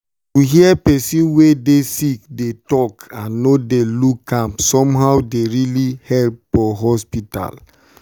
to hear person wey dey sick dey talk and no dey look am somehow dey really help for hospital.